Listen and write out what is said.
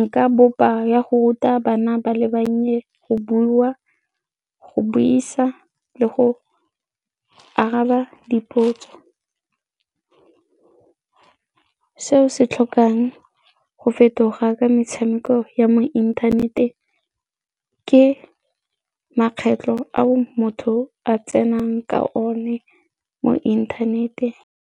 nka bopa ya go ruta bana ba le bannye go bua, go buisa le go araba dipotso. Seo se tlhokang go fetoga ka metshameko ya mo inthaneteng ke makgetlho a motho a tsenang ka one mo inthanete.